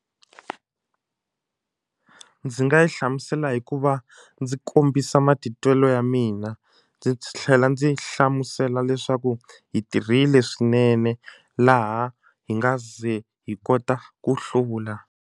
Ndzi nga yi hlamusela hikuva ndzi kombisa matitwelo ya mina ndzi tlhela ndzi hlamusela leswaku hi tirhile swinene laha hi nga ze hi kota ku hlula.